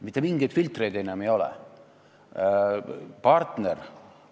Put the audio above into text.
Mitte mingeid filtreid enam ei ole!